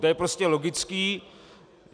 To je prostě logické.